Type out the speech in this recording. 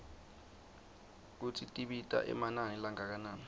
kutsi tibita emanani langakanani